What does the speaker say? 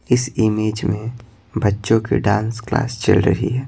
इस इमेज में बच्चों की डांस क्लास चल रही है।